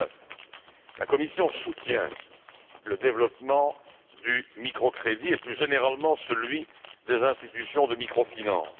2009. La Commission soutient le développement du microcrédit et, plus généralement, celui des institutions de micro finance.